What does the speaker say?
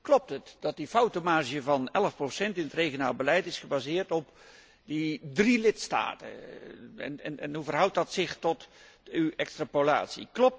Klopt het dat die foutenmarge van 11 procent in het regionaal beleid is gebaseerd op die drie lidstaten, en hoe verhoudt dat zich tot uw extrapolatie?